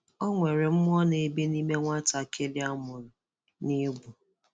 O nwere mmụọ na-ebi nime nwatakịrị a mụrụ na egwu.